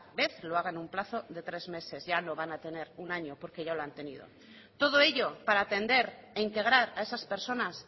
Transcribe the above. vez lo haga en un plazo de tres meses ya no van a tener un año porque ya lo han tenido todo ello para atender e integrar a esas personas